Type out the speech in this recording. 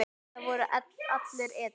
Það voru allir edrú.